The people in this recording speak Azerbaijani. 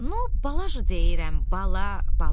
Nu, bala deyirəm, bala, bala.